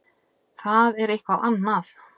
Það er eitthvað annað.